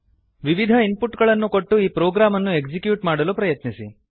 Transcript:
ವಿವಿಧ ಇನ್ಪುಟ್ ಗಳನ್ನು ಕೊಟ್ಟು ಈ ಪ್ರೊಗ್ರಾಮ್ ಅನ್ನು ಎಕ್ಸಿಕ್ಯೂಟ್ ಮಾಡಲು ಪ್ರಯತ್ನಿಸಿ